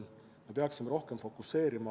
Me peaksime seda rohkem fokuseerima.